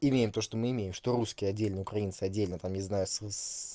имеем то что мы имеем что русские отдельно украинцы отдельно там не знаю с с